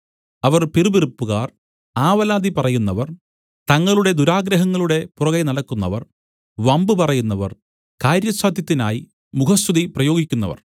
അവർ പിറുപിറുപ്പുകാർ ആവലാതി പറയുന്നവർ തങ്ങളുടെ ദുരാഗ്രഹങ്ങളുടെ പുറകെനടക്കുന്നവർ വമ്പുപറയുന്നവർ കാര്യസാദ്ധ്യത്തിനായി മുഖസ്തുതി പ്രയോഗിക്കുന്നവർ